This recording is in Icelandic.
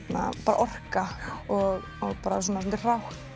orka og bara svona svolítið hrátt